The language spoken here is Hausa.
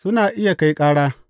Suna iya kai ƙara.